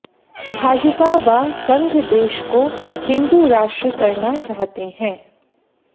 भाजपा व संघ देश को हिंदू राष्ट्र करना चाहते हैं